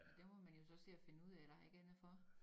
Men det må man jo så se at finde ud af der er ikke andet for